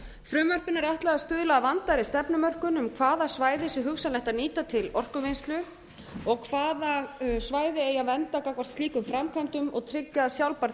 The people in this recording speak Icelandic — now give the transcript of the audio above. frumvarpinu er ætla að stuðla að vandaðri stefnumörkun um hvaða svæði sé hugsanlegt að nýta til orkuvinnslu og hvaða svæði eigi að vernda gagnvart slíkum framkvæmdum og tryggja að sjálfbær